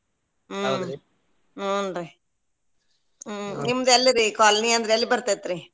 ಹ್ಮ್‌ ಹುಂ ರೀ ಹ್ಮ್‌ ನಿಮ್ದ ಎಲ್ರಿ colony ಅಂದ್ರ ಎಲ್ಲಿ ಬರ್ತೈತ್ರಿ?